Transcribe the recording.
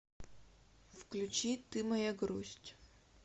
включи ты моя грусть